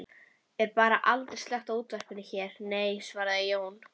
Er bara aldrei slökkt á útvarpinu hér, nei, svaraði Jón